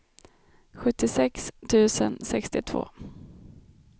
sjuttiosex tusen sextiotvå